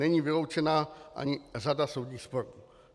Není vyloučena ani řada soudních sporů.